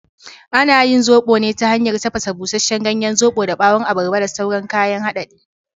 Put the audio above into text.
Ana yin zoɓo ne ta hanyar tafasa busasshen ganyen zoɓon da ɓawon abarba da sauran kayan hadadi.